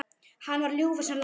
Hann var ljúfur sem lamb.